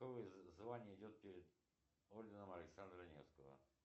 какое звание идет перед орденом александра невского